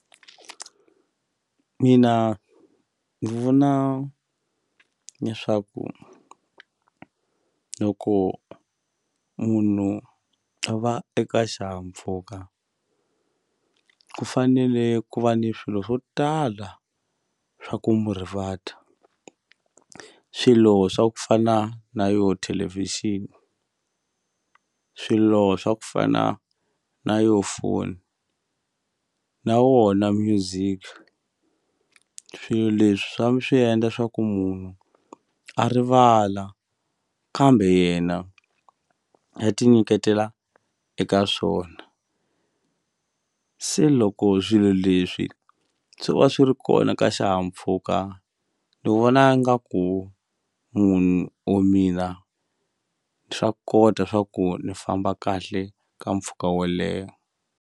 Mina ni vona leswaku loko munhu a va eka xihahampfhuka ku fanele ku va ni swilo swo tala swa ku mu rivata swilo swa ku fana na yo thelevhixini swilo swa ku fana na yo foni na wona music swilo leswi swa swi endla swa ku munhu a rivala kambe yena a ti nyiketela eka swona se loko swilo leswi swo va swi ri kona ka xihahampfhuka ni vona nga ku munhu or mina swa kota swa ku ni famba kahle ka mpfhuka wo leha.